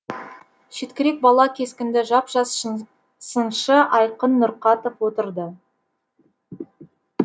шеткірек бала кескінді жап жас сыншы айқын нұрқатов отырды